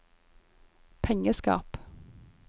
pengeskap